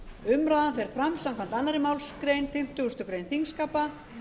umræðan fer fram samkvæmt annarri málsgrein fimmtugustu grein þingskapa